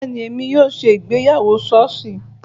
Bẹ́ẹ̀ni, èmi yóò ṣe ìgbéyàwó sọ́ọ̀sì